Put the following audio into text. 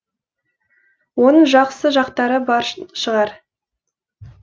оның жақсы жақтары бар шығар